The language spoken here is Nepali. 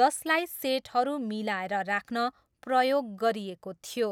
जसलाई सेटहरू मिलाएर राख्न प्रयोग गरिएको थियो।